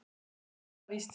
Eitt var þó alltaf víst.